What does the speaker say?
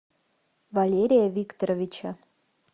валерия викторовича